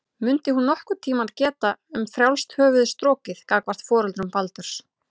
Mundi hún nokkurn tíma geta um frjálst höfuð strokið gagnvart foreldrum Baldurs?